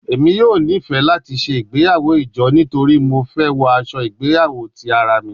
Emi yoo nifẹ lati ṣe igbeyawo ijo nitori Mo fẹ wọ aṣọ igbeyawo ti ara mi